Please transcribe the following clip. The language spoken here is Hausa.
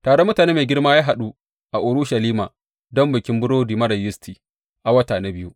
Taron mutane mai girma ya haɗu a Urushalima don Bikin Burodi Marar Yisti a wata na biyu.